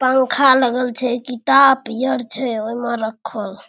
पंखा लगल छे किताब पियर छे ओए में रखल --